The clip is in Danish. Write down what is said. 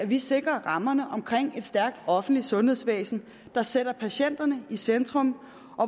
vi sikrer rammerne omkring et stærkt offentligt sundhedsvæsen der sætter patienterne i centrum